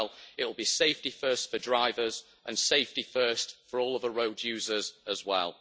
it'll be safety first for drivers and safety first for all other road users as well.